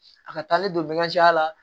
A ka taa ne don a la